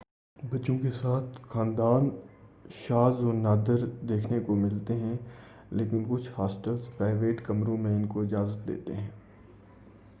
بچوں کے ساتھ خاندان شاز و نادر دیکھنے کو ملتے ہیں لیکن کچھ ہاسٹلز پرائویٹ کمروں میں ان کو اجازت دیتے ہیں